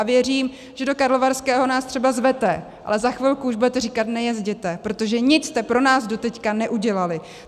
A věřím, že do Karlovarského nás třeba zvete, ale za chvilku už budete říkat: nejezděte, protože nic jste pro nás doteď neudělali.